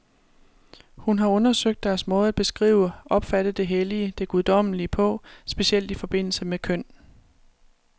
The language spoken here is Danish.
Hun har undersøgt deres måde at beskrive, opfatte det hellige, det guddommelige på, specielt i forbindelse med køn.